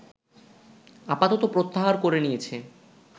আপাতত প্রত্যাহার করে নিয়েছে